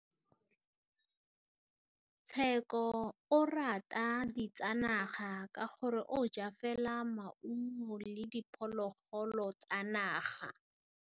Tshekô o rata ditsanaga ka gore o ja fela maungo le diphologolo tsa naga.